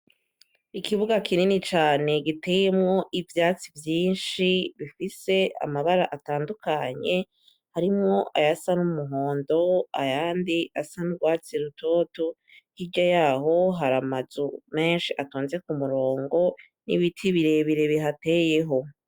Ikibuga kinini cane giteyemwo ivyatsi vyinshi bifise amabara atandukanye harimwo ayasa n'umuhondo ayandi asa n'urwatsi rutoto hirya yaho hari amazu menshi atonze ku murongo n'ibiti birebire bihateyeho.